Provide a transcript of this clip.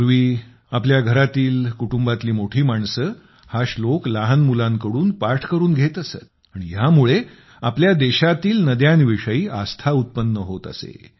पूर्वी आमच्या घरातील कुटुंबातील मोठी माणसे हा श्लोक लहान मुलांकडून पाठ करून घेत असत आणि ह्या मुळे आपल्या देशातील नद्यांच्याविषयी आस्था उत्पन्न होत असे